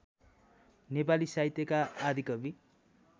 नेपाली साहित्यका आदिकवि